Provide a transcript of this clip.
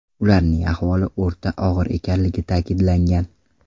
Ularning ahvoli o‘rta og‘ir ekanligi ta’kidlangan.